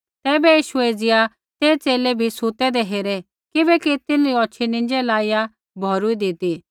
तैबै यीशुऐ एज़िया ते च़ेले भी सुतैदै हेरै किबैकि तिन्हरी औछ़ी नींज़ै लाइया भौरूइदी ती